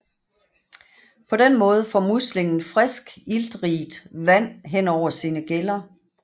På den måde får muslingen friskt iltrigt vand hen over sine gæller